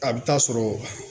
A bɛ taa sɔrɔ